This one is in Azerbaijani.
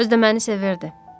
Özü də məni sevirdi.